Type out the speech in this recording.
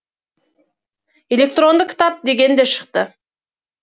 электронды кітап деген де шықты